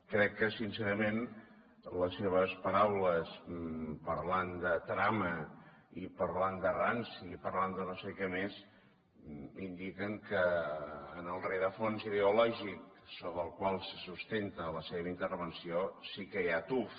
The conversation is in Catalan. crec que sincerament les seves paraules parlant de trama i parlant de ranci i parlant de no sé què més indiquen que en el rerafons ideològic sobre el qual se sustenta la seva intervenció sí que hi ha tuf